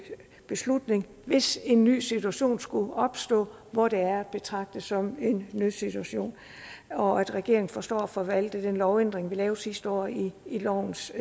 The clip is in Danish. beslutning hvis en ny situation skulle opstå hvor det er at betragte som en nødsituation og at regeringen forstår at forvalte den lovændring vi lavede sidste år i lovens